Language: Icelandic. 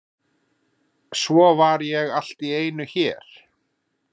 Svo var ég allt í einu hér.